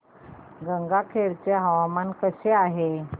गंगाखेड चे हवामान कसे आहे